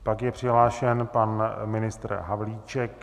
Pak je přihlášen pan ministr Havlíček.